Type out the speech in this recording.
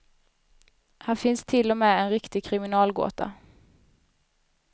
Här finns till och med en riktig kriminalgåta.